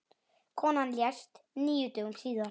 Konan lést níu dögum síðar.